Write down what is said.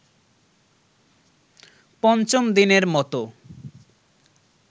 পঞ্চম দিনের মতো